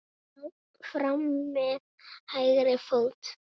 Fram með hægri fót.